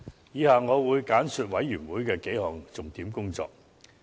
以下我會簡述事務委員會的數項重點工作。